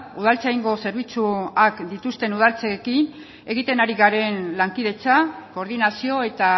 udaltzaingo zerbitzuak dituzten udaletxeekin egiten ari garen lankidetza koordinazio eta